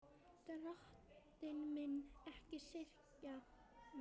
Drottinn minn, ekki syrgi ég það.